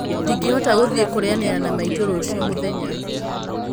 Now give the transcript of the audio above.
Ndingĩhota gũthiĩ kũrĩanira na maitũ rũciũ mũthenya